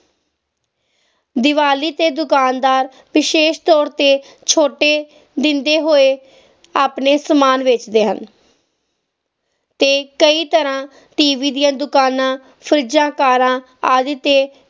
ਦੀਵਾਲੀ ਤੇ ਦੁਕਾਨਦਾਰ ਵਿਸ਼ੇਸ਼ ਤੌਰ ਤੇ ਛੋਟੇ ਦਿੰਦੇ ਹੋਏ ਆਪਣੇ ਸਮਾਨ ਵੇਚਦੇ ਹਨ ਤੇ ਕਈ ਤਰ੍ਹਾਂ T. V. ਦੀਆਂ ਦੁਕਾਨਾਂ ਫਰਿਜਾਂ ਕਾਰਾਂ ਆਦਿ ਤੇ